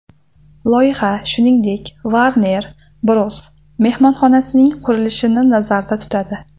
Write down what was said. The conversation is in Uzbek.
Loyiha, shuningdek, Warner Bros. mehmonxonasining qurilishini nazarda tutadi.